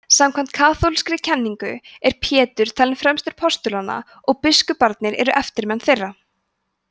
samkvæmt kaþólskri kenningu er pétur talinn fremstur postulanna og biskuparnir eru eftirmenn þeirra